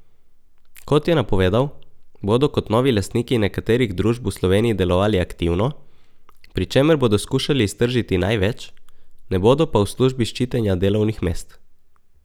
Kot je napovedal, bodo kot novi lastniki nekaterih družb v Sloveniji delovali aktivno, pri čemer bodo skušali iztržiti največ, ne bodo pa v službi ščitenja delovnih mest.